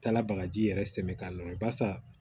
Taala bagaji yɛrɛ sɛmɛ k'a nɔrɔ basa